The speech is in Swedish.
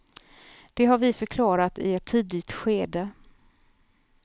Det har vi förklarat i ett tidigt skede.